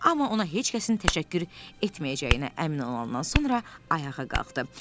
Amma ona heç kəsin təşəkkür etməyəcəyinə əmin olandan sonra ayağa qalxdı.